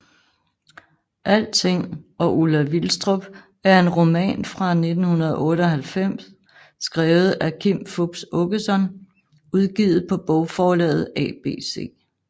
Alting og Ulla Vilstrup er en roman fra 1998 skrevet af Kim Fupz Aakeson udgivet på bogforlaget ABC